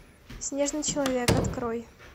снежный человек открой